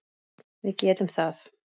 Við getum það.